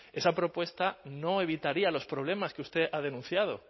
esa propuesta no evitaría los problemas que usted ha denunciado